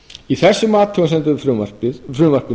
í þessum athugasemdum með frumvarpinu